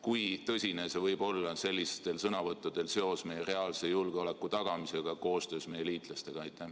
Kui tõsine võib olla selliste sõnavõttude seos meie reaalse julgeoleku tagamisega koostöös meie liitlastega?